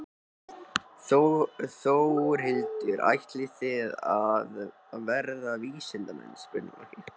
Þórhildur: Ætlið þið að verða vísindamenn?